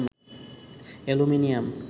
aluminium